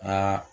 Aa